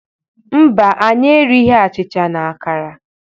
Mba, anyị erighi achịcha na akara.